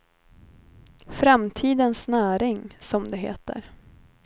Framtidens näring, som det heter.